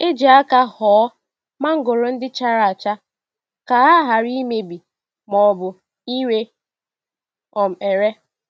E ji aka họọ mangoro ndị chara acha ka ha ghara imebi ma ọbụ ire um ere.